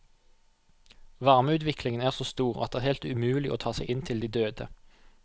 Varmeutviklingen er så stor at det er helt umulig å ta seg inn til de døde.